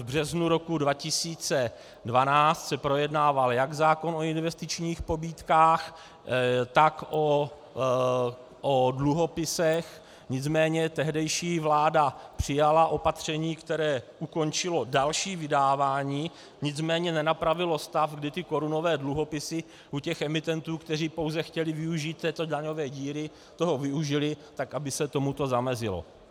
V březnu roku 2012 se projednával jak zákon o investičních pobídkách, tak o dluhopisech, nicméně tehdejší vláda přijala opatření, které ukončilo další vydávání, nicméně nenapravilo stav, kdy ty korunové dluhopisy u těch emitentů, kteří pouze chtěli využít této daňové díry, toho využili, tak aby se tomuto zamezilo.